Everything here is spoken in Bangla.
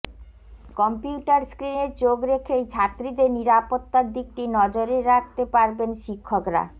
কম্পিউটার স্ক্রিনে চোখ রেখেই ছাত্রীদের নিরাপত্তার দিকটি নজরে রাখতে পারবেন শিক্ষকরা